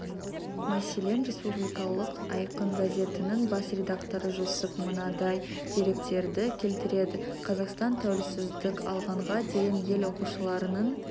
мәселен республикалық айқын газетінің бас рекдакторы жүсіп мынадай деректерді келтіреді қазақстан тәуелсіздік алғанға дейін ел оқушыларының